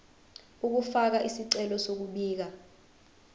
ukufaka isicelo sokubika